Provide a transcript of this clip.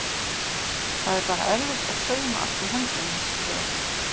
Það var bara erfitt að sauma allt í höndunum skrifar hún.